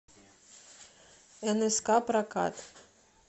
нск прокат